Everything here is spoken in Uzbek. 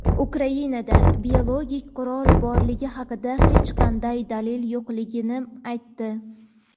Ukrainada biologik qurol borligi haqida hech qanday dalil yo‘qligini aytdi.